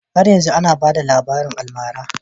Har yanzu ana bada rabarin almara